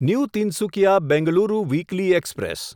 new Tinsukia Bengaluru weekly express